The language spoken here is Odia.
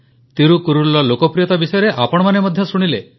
ତିରୁକୁରଲ୍ର ଲୋକପ୍ରିୟତା ବିଷୟରେ ଆପଣମାନେ ମଧ୍ୟ ଶୁଣିଲେ